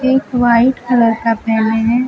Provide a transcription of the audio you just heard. एक white colour का पहने है।